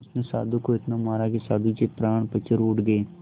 उसने साधु को इतना मारा कि साधु के प्राण पखेरु उड़ गए